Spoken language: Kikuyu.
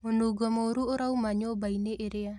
Mũnungo mũru ũrauma nyũmba-ini ĩrĩa